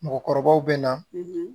Mɔgɔkɔrɔbaw bɛ na